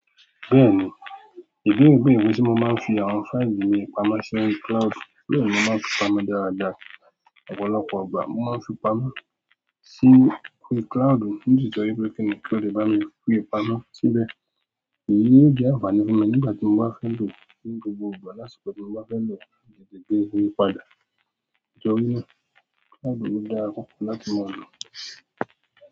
Bẹ́ẹ̀ ni, ìbéèrè beere pe se mo maan fi àwọn fáìlì mi pamọ́ si orí cloud. Bẹ́ẹ̀ ni mo maa n fi pamọ́ dáadáa. Ọ̀pọ̀lọpọ̀ ìgbà mo máa ń fi pamọ́ sí orí cloud, ní titorí pé kí ni kí ó lè bá mi fi pamọ́ síbẹ̀. Èyí yóò jẹ́ àǹfààní fún mi nígbà tí mo bá fẹ́ lò ó ní gbogbo ìgbà lásìkò tí mo bá fẹ́ lò láti se déédéé pà da. Nítorí pé cloud o dára púpọ̀ láti máa lò.